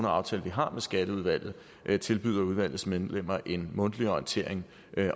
aftale vi har med skatteudvalget tilbyder udvalgets medlemmer en mundtlig orientering